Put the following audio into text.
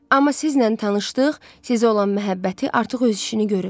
Amma sizinlə tanışlıq, sizə olan məhəbbəti artıq öz işini görüb.